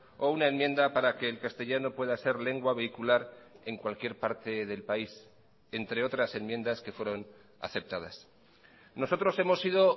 o una enmienda para que el castellano pueda ser lengua vehicular en cualquier parte del país entre otras enmiendas que fueron aceptadas nosotros hemos sido